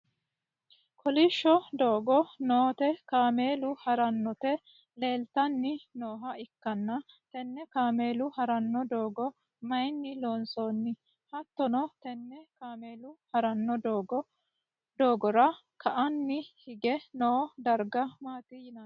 kolishsho doogo noote kaameelu harannoti leeltanni nooha ikkanna, tenne kaameelu haranno doogo mayiinni loonsanni? hattono tenne kaameelu haranno doogora ka'aanni hige noo darga maati yinanni?